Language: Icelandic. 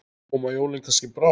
Koma jólin kannski brátt?